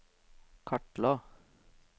kartla